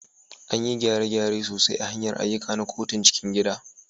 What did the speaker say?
Anyi gyare-gyare sosai a hanyar ayyuka na kotun cikin gida